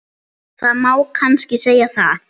Það má kannski segja það.